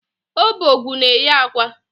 Ọbọgwụ na eye akwa